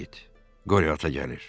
Qoryo ata gəlir.